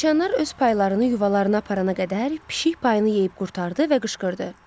Siçanlar öz paylarını yuvalarına aparana qədər pişik payını yeyib qurtardı və qışqırdı.